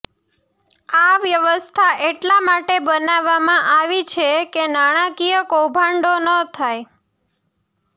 આ વ્યવસ્થા એટલા માટે બનાવવામાં આવી છે કે નાણાકીય કૌભાંડો ન થાય